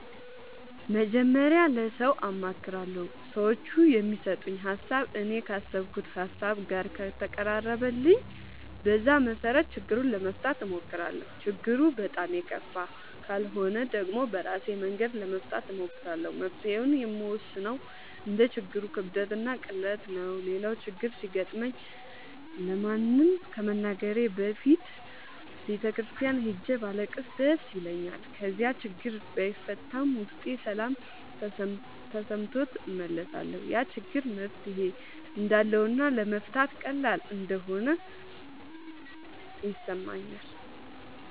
መጀመሪያ ለሠው አማክራለሁ። ሠዎቹ የሚሠጡኝ ሀሣብ እኔ ካሠብኩት ሀሳብ ጋር ከተቀራረበልኝ በዛ መሠረት ችግሩን ለመፍታት እሞክራለሁ። ችግሩ በጣም የከፋ ካልሆነ ደግሞ በራሴ መንገድ ለመፍታት እሞክራለሁ። መፍትሔውን የምወስነው እንደ ችግሩ ክብደትና ቅለት ነው። ሌላው ችግር ሲገጥመኝ ለማንም ከመናገሬ በፊት ቤተ ክርስቲያን ሄጄ ባለቅስ ደስ ይለኛል። ከዚያ ያችግር ባይፈታም ውስጤ ሠላም ተሠምቶት እመለሳለሁ። ያ ችግር መፍትሔ እንዳለውና ለመፍታት ቀላል እንደሆነ ይሠማኛል።